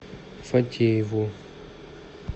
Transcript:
фатееву